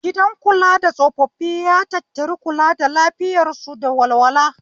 Gidan kula da tsofaffi ya tattari kula da lafiyar su da walwala